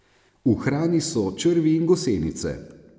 V hrani so črvi in gosenice.